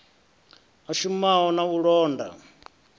a shumaho na u londa